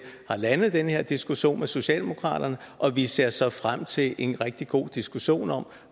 har landet den her diskussion med socialdemokraterne og vi ser så frem til en rigtig god diskussion om